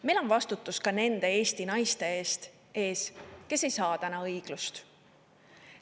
Meil on vastutus ka nende Eesti naiste ees, kes ei saa täna õiglust.